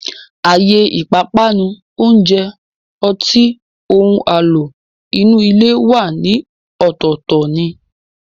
Àyè ìpápánu, oúnjẹ, ọtí, ohun àlò inú ilé wà ní ọ̀tọ̀ọ̀tọ̀ ni